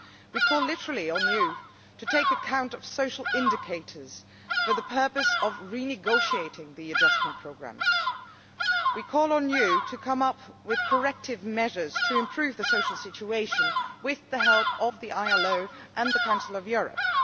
We call on you to take account of social indicators for the purpose of renegotiating the adjustment programmes. We call on you to come up with corrective measures to improve the social situation with the help of the ILO and the Council of Europe.